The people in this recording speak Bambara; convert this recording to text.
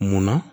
Munna